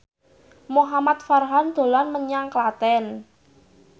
Muhamad Farhan dolan menyang Klaten